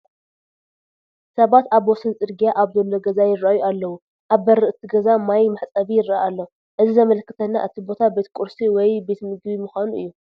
ሰባት ኣብ ወሰን ፅርጊያ ኣብ ዘሎ ገዛ ይርአዩ ኣለዉ፡፡ ኣብ በሪ እቲ ገዛ ማይ መሕፀቢ ይርአ ኣሎ፡፡ እዚ ዘምልክተና እቲ ቦታ ቤት ቁርሲ ወይ ቤት ምግቢ ምዃኑ እዩ፡፡